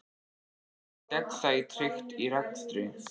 Hvernig er gegnsæi tryggt í rekstri?